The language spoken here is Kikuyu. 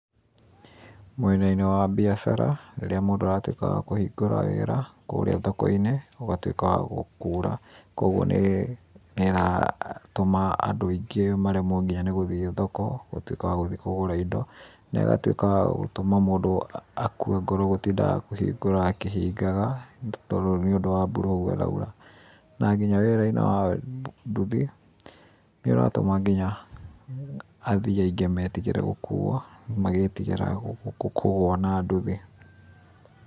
Mwena-inĩ wa mbiacara, rĩrĩa mũndũ aratuĩka wa kũhingũra wĩra kũrĩa thoko-inĩ gũgatuĩka gwa kuura. Kwoguo nĩratũma andũ aingĩ maremwo nginya nĩ gũthiĩ thoko gũtuĩka wa gũthiĩ kũgũra indo na ĩgatuĩka ya gũtũma mũndũ akue ngoro gũtinda wa kũhingũra akĩhingaga nĩũndũ wa mbura ũguo ĩraura. Na nginya wĩra-inĩ wa nduthi, nĩĩratũma nginya athii aingĩ metigĩre gũkuuo magĩtigĩra kũgũa na nduthi.